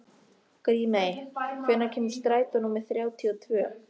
Grímey, hvenær kemur strætó númer þrjátíu og tvö?